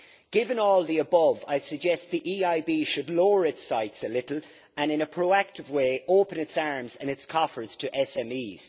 Given all the above, I suggest the EIB should lower its sights a little and, in a proactive way, open its arms and its coffers to SMEs.